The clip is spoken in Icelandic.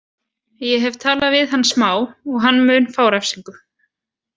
Ég hef talað við hann smá og hann mun fá refsingu.